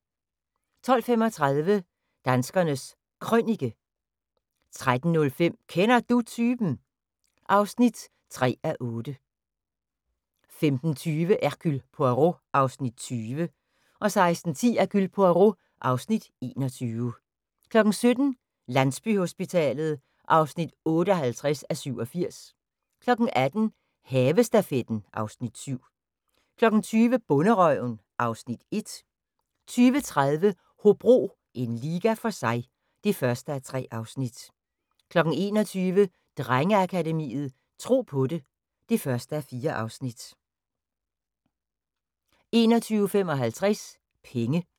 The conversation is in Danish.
12:35: Danskernes Krønike 13:05: Kender Du Typen? (3:8) 15:20: Hercule Poirot (Afs. 20) 16:10: Hercule Poirot (Afs. 21) 17:00: Landsbyhospitalet (58:87) 18:00: Havestafetten (Afs. 7) 20:00: Bonderøven (Afs. 1) 20:30: Hobro – en liga for sig (1:3) 21:00: Drengeakademiet – Tro på det (1:4) 21:55: Penge